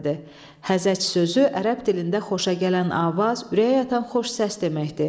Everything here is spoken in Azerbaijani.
Həzəc sözü ərəb dilində xoşagələn avaz, ürəyə yatan xoş səs deməkdir.